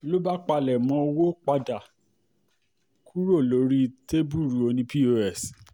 ló bá pálémọ owó padà kúrò lórí tẹ́bùrú ọ̀nì POS